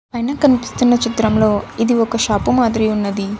పైన కనిపిస్తున్న చిత్రంలో ఇది ఒక షాపు మాదిరి ఉన్నది.